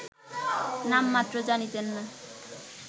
নাম মাত্র জানিতেন না